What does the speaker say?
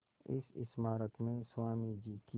इस स्मारक में स्वामी जी की